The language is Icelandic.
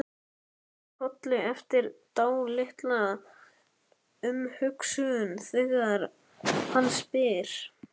Kinkar kolli eftir dálitla umhugsun þegar hann spyr.